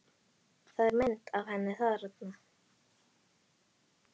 Það er mynd af henni þarna.